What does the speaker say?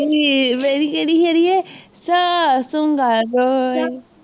ਹੀ ਮੇਰੀ ਹੈ